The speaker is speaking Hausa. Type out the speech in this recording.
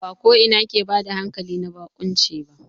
Ba ko ina ke bada hankali na baƙunci ba.